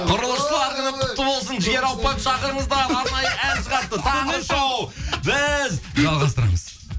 құрылысшылар күні құтты болсын жігер ауыпбаевты шақырыңыздар арнайы ән шығарыпты таңғы шоу біз жалғастырамыз